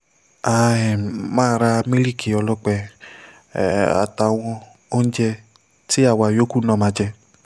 a um máa ra mílíìkì ọlọ́pẹ́ um àtàwọn oúnjẹ tí àwa yòókù náà máa jẹ